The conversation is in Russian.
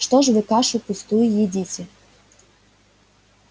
что ж вы кашу пустую едите